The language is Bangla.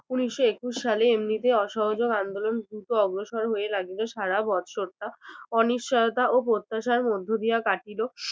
উনিশশো একুশ সালে এমনিতে অসহযোগ আন্দোলন দ্রুত অগ্রসর হয়ে লাগিল সারা বছরটা অনিশ্চয়তা ও প্রত্যাশার মধ্য দিয়া কাটিলো